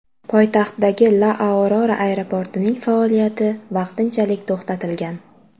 Poytaxtdagi La Aurora aeroportining faoliyati vaqtinchalik to‘xtatilgan.